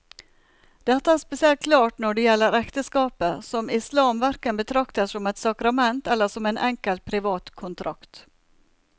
Dette er spesielt klart når det gjelder ekteskapet, som islam hverken betrakter som et sakrament eller som en enkel privat kontrakt.